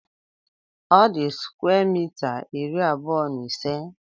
Ọ di square mita iri abuọ na ise